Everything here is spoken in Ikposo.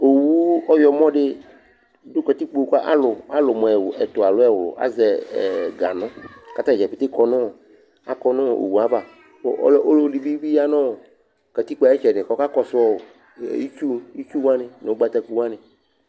õẅũ õƴõ ḍũ ƙatïkpo ălũ mũ mʊ ɛtũẽ alõ ɛwlũ ăžɛ ɛ hẽ ǧanụ katãdjä kéké ƙõnũõ owũvã kũlʊvï dïbĩ yañọɔ ʘwʊavã kʊ ʊlụ vị dĩ bị ya kõkakõssũ katịkpọ ayïtchǝdï